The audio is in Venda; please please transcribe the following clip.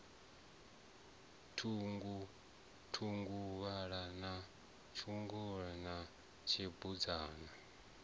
thunguvhala na mutshena na tshibudzana